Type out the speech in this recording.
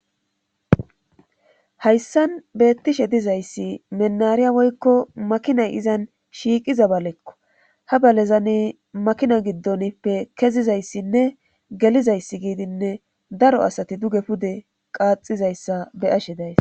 hayissan beettishe dizayssi menariya woykko makinay izan shiiqiza balekko ha balezani makina giddonppe kezizayssinne gelizayssi giidinne daro asati duge pude qaaxizayssa be'ashe dayis